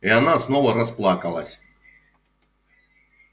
и она снова расплакалась